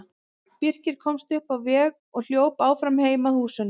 Birkir komst upp á veg og hljóp áfram heim að húsunum.